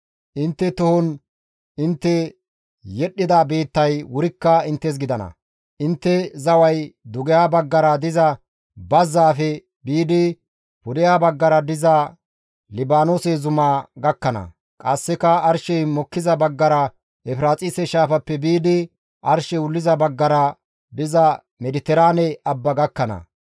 Intte tohon intte yedhdhida biittay wurikka inttes gidana; intte zaway dugeha baggara diza bazzaafe biidi pudeha baggara diza Libaanoose zumaa gakkana; qasseka arshey mokkiza baggara Efiraaxise shaafappe biidi arshey wulliza baggara diza Mediteraane abba gakkana.